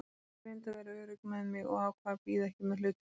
Ég reyndi að vera örugg með mig og ákvað að bíða ekki með hlutina.